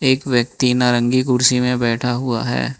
एक व्यक्ति नारंगी कुर्सी में बैठा हुआ है।